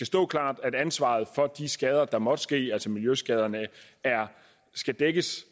stå klart at ansvaret for de skader der måtte ske altså miljøskader skal dækkes